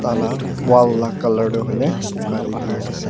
Tala wall la colour tuh hoile buka dae dena ase.